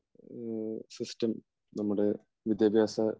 system നമ്മുടെ വിദ്യാഭ്യാസ